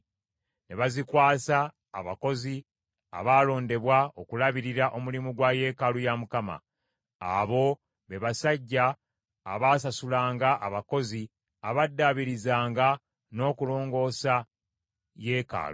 Ne bazikwasa abakozi abaalondebwa okulabirira omulimu gwa yeekaalu ya Mukama . Abo be basajja abaasasulanga abakozi abaddaabirizanga n’okulongoosa yeekaalu.